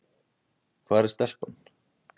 Hvar er stelpan?